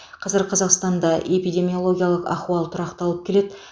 қазір қазақстанда эпидемиологиялық ахуал тұрақталып келеді